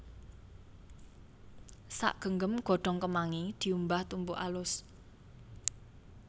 Sagenggem godhong kemangi diumbah tumbuk alus